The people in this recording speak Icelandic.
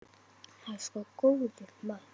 Það er sko góður maður.